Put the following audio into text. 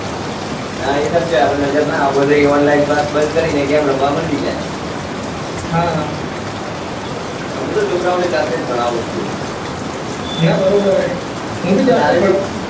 એ સાચી વાત આપને નજર ના આપો તો એ online class બંદ કરી ને એ game રમવા મંડી જાય હા મુ તો છોકરા ઓને જાતે જ ભણાવું છુ ના બરોબર હૈ મુ ભી જાતે જ ભણાવું છુ